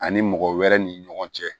Ani mɔgɔ wɛrɛ ni ɲɔgɔn cɛ